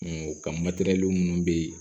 kan matɛrɛli munnu be ye